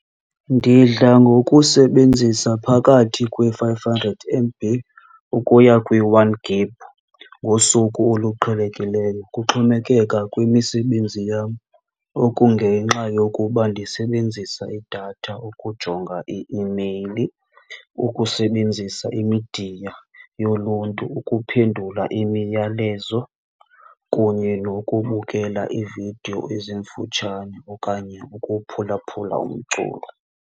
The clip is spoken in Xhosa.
Ndidla ngokusebenzisa phakathi kwe-five hundred M_B ukuya kwi-one gig ngosuku oluqhelekileyo kuxhomekeka kwimisebenzi yam. Oku ngenxa yokuba ndisebenzisa idatha ukujonga i-imeyili, ukusebenzisa imidiya yoluntu, ukuphendula imiyalezo kunye nokubukela iividiyo ezimfutshane okanye ukuphulaphula umculo.